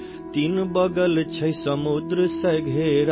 تین جانب سمندر سے گھرا،